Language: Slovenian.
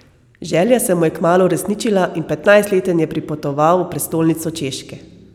Želja se mu je kmalu uresničila in petnajstleten je pripotoval v prestolnico Češke.